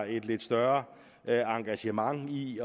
et lidt større engagement i